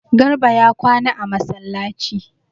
Garba ya kwana a masallaci